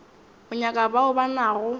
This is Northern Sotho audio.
o nyaka bao ba nago